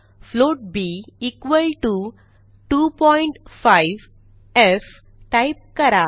float b equal to 25एफ type करा